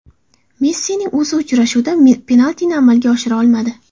Messining o‘zi uchrashuvda penaltini amalga oshira olmadi.